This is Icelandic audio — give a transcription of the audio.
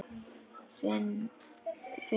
Þinn Finnur.